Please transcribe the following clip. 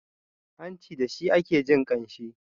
hanci da shi ake jin ƙanshi